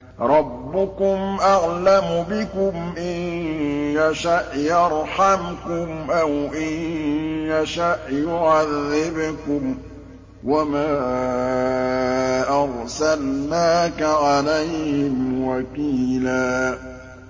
رَّبُّكُمْ أَعْلَمُ بِكُمْ ۖ إِن يَشَأْ يَرْحَمْكُمْ أَوْ إِن يَشَأْ يُعَذِّبْكُمْ ۚ وَمَا أَرْسَلْنَاكَ عَلَيْهِمْ وَكِيلًا